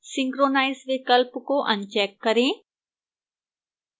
synchronize विकल्प को uncheck करें